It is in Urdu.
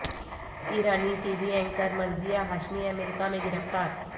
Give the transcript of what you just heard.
ایرانی TV anchor Marzieh Hashemi امریکہ میں گرفتار